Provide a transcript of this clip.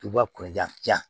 Tubabu jan